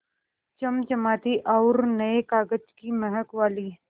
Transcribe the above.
चमचमाती और नये कागज़ की महक वाली